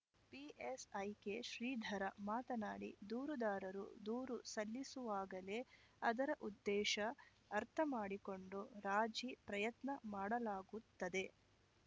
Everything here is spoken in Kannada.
ಪಿಎಸ್‌ಐ ಕೆ ಶ್ರೀಧರ ಮಾತನಾಡಿ ದೂರುದಾರರು ದೂರು ಸಲ್ಲಿಸುವಾಗಲೇ ಅದರ ಉದ್ದೇಶ ಅರ್ಥ ಮಾಡಿಕೊಂಡು ರಾಜಿ ಪ್ರಯತ್ನ ಮಾಡಲಾಗುತ್ತದೆ